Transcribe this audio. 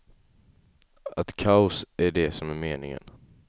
Att kaos är det som är meningen.